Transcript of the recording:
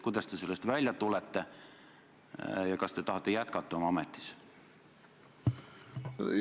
Kuidas te sellest välja tulete ja kas te tahate jätkata oma ametis?